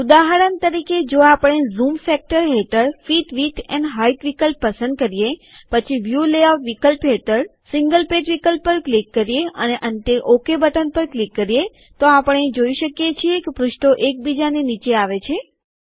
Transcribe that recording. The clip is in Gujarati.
ઉદાહરણ તરીકે જો આપણે ઝૂમ ફેક્ટર હેઠળ ફીટ વિદ્થ એન્ડ હાઈટ વિકલ્પ પસંદ કરીએ પછી વ્યુ લેઆઉટ વિકલ્પ હેઠળ સીન્ગલ પેજ વિકલ્પ પર ક્લિક કરીએ અને અંતે ઓકે બટન પર ક્લિક કરીએ તો આપણે જોઈ શકીએ છીએ કે પૃષ્ઠો એક બીજાની નીચે આવે છે